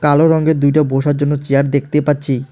কালো রঙ্গের দুইটা বসার জন্য চেয়ার দেখতে পাচ্ছি।